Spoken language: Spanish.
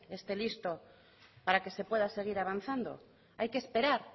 esté listo para que se pueda seguir avanzando hay que esperar